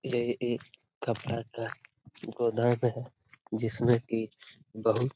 यह एक कपड़ा का गोदाम है जिसमे की बहुत--